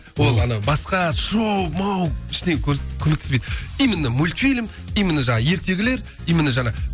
ол ана басқа шоу моу ештеңе көргізбейді именно мульфильм именно жаңағы ертегілер именно жаңағы